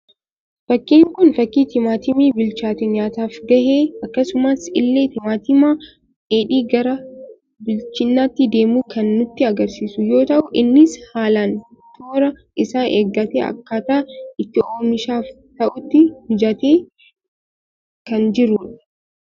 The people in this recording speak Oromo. Fakkiin kun, fakkii timaatimii bichaatee nyaataaf gahe, akkasuma illee timaatima dheedhii gara bilchinaatti deemu kan nutti agarsiisu yoo ta'u, innis haalaan toora isaa eeggatee akkataa itti oomishaaf ta'utti mijateeti kan jiru.